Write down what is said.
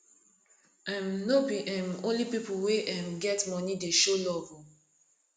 um no be um only pipu wey um get moni dey show love o